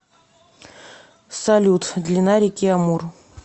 салют длина реки амур